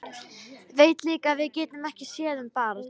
Veit líka að við getum ekki séð um barn.